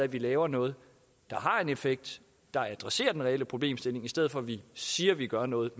at vi laver noget der har en effekt der adresserer den reelle problemstilling i stedet for at vi siger vi gør noget